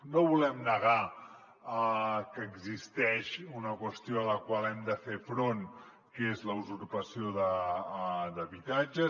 no volem negar que existeix una qüestió a la qual hem de fer front que és la usurpació d’habitatges